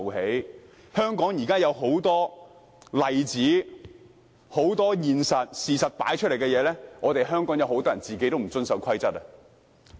現時香港已有很多例子，事實擺在眼前，很多香港人本身都不遵守規則。